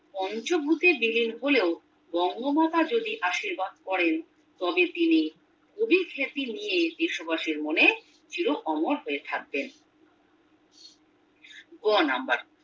পঞ্চভূতির দেহের হলেও বঙ্গমাতা যদি আশীর্বাদ করেন তবে তিনি কবি স্মৃতি নিয়ে দেশবাসীর মনে চির অমর হয়ে থাকবেন গ নাম্বার